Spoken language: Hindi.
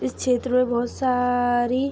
इस छेत्र में बहुत सारी--